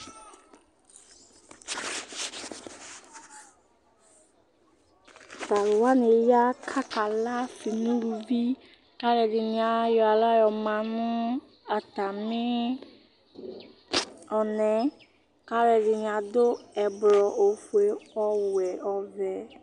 to alowani ya k'aka la ase n'uluvi k'aloɛdini ayɔ ala yɔma no atami ɔnaɛ k'aloɛdini ado ublɔ ofue ɔwɛ ɔvɛ